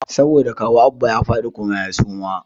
Saboda kawu Abba ya fadi kuma ya suma